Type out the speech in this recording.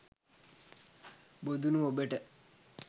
බොදුනු ඔබට